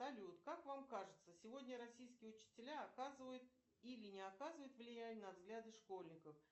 салют как вам кажется сегодня российские учителя оказывают или не оказывают влияние на взгляды школьников